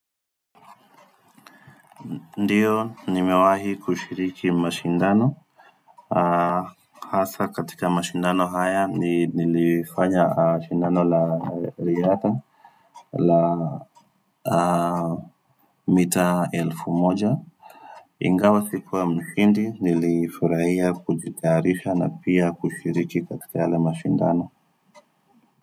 Ndiyo nimewahi kushiriki mashindano Haasa katika mashindano haya nilifanya mashindano la riatha la mita elfu moja Ingawa sikuwa mshindi nilifurahia kujikarisha na pia kushiriki katika yale mashindano.